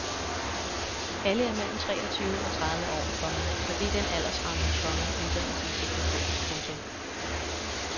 Alle er mellem treogtyve og tredive år, komma for det er den aldersramme, komma uddannelsen sigter på. punktum